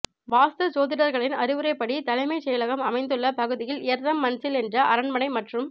வாஸ்து ஜோதிடர்களின் அறிவுரைப்படி தலைமைச் செயலகம் அமைந்துள்ள பகுதியில் எர்ரம் மன்சில் என்ற அரண்மனை மற்றும்